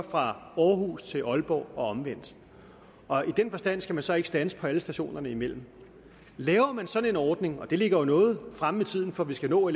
fra aarhus til aalborg og omvendt og i den forstand skal man så ikke standse på alle stationerne imellem laver man sådan en ordning og det ligger jo noget fremme i tiden for vi skal nå